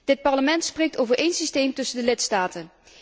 Dit Parlement spreekt over één systeem tussen de lidstaten.